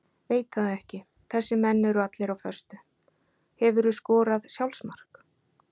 Veit það ekki þessir menn eru allir á föstu Hefurðu skorað sjálfsmark?